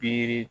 Biri